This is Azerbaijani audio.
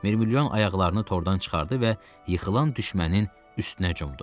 Mirmilyon ayaqlarını tordan çıxardı və yıxılan düşmənin üstünə cumdu.